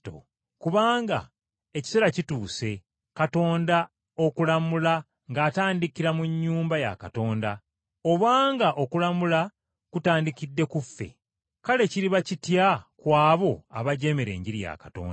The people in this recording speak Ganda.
Kubanga ekiseera kituuse Katonda okulamula ng’atandikira mu nnyumba ya Katonda. Obanga okulamula kutandikidde ku ffe, kale kiriba kitya ku abo abajeemera Enjiri ya Katonda?